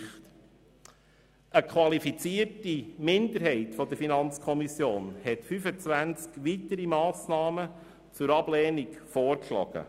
Eine qualifizierte Minderheit der Kommission hat weitere 25 Massnahmen zur Ablehnung vorgeschlagen.